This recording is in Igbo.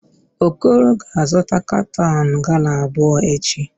Okoro ga-azụta katọn gala abụọ echi.